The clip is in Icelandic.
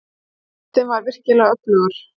Kristinn var virkilega öflugur.